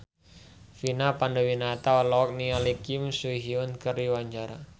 Vina Panduwinata olohok ningali Kim So Hyun keur diwawancara